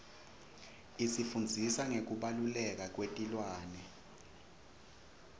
isifundzisa ngekubaluleka kwetilwane